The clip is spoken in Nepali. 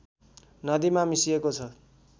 नदीमा मिसिएको छ